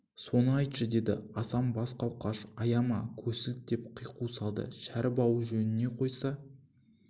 соны айтшы деді асан бас қауқаш аяма көсілт деп қиқу салды шәріп ау жөніне қойса